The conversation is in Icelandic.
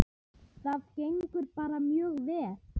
Það gengur bara mjög vel.